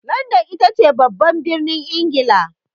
Landan ita ce babban birnin Ingila.